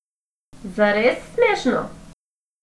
Zares smešno!